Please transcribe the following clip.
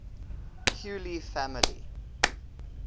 huxley family